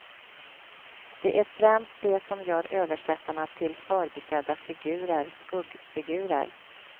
Det är främst det som gör översättarna till förbisedda figurer, skuggfigurer.